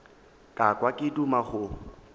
ka kwa ke duma go